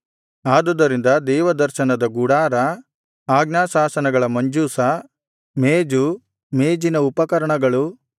ಆದುದರಿಂದ ದೇವದರ್ಶನದ ಗುಡಾರ ಆಜ್ಞಾಶಾಸನಗಳ ಮಂಜೂಷ ಮೇಜು ಮೇಜಿನ ಉಪಕರಣಗಳು